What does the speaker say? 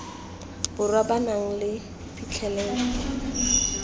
borwa ba nang le phitlhelelo